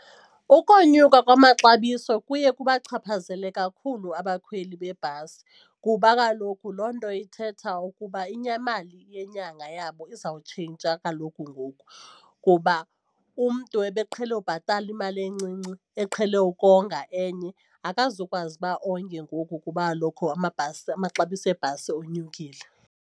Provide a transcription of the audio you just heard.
Ukonyuka kwamaxabiso kuye kubachaphazela kakhulu abakhweli bebhasi kuba kaloku loo nto ithetha ukuba imali yenyanga yabo izawutshintsha kaloku ngoku kuba umntu ebeqhele ubhatala imali encinci eqhele ukonga enye, akazukwazi uba onge ngoku kuba kaloku amabhasi amaxabiso ebhasi onyukile.